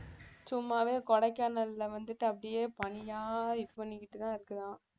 சும்மாவே கொடைக்கானல்ல வந்துட்டு அப்படியே பனியா இது பண்ணிக்கிட்டுதான் இருக்குதாம்